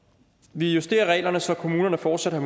vi justerer reglerne så kommunerne fortsat har